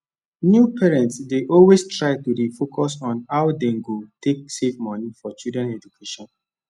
new parents dey always try to dey focus on how dem go take save money for children education